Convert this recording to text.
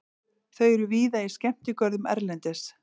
Þau eru víða í skemmtigörðum erlendis.